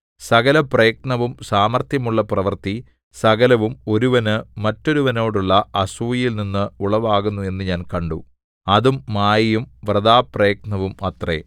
സകലപ്രയത്നവും സാമർത്ഥ്യമുള്ള പ്രവൃത്തി സകലവും ഒരുവന് മറ്റൊരുവനോടുള്ള അസൂയയിൽ നിന്ന് ഉളവാകുന്നു എന്ന് ഞാൻ കണ്ടു അതും മായയും വൃഥാപ്രയത്നവും അത്രേ